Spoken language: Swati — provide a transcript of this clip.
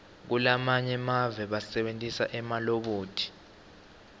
kulamanye emave basebentisa emalobhothi